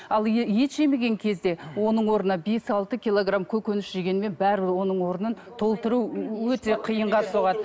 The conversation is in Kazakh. ал ет жемеген кезде оның орнына бес алты килограмм көкөніс жегенмен бәрібір оның орнын толтыру өте қиынға соғады